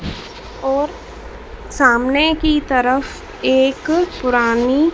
और सामने की तरफ एक पुरानी--